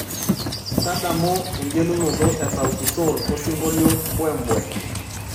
tadamu engelunoto e sauti sol osingolio mbwe mbwe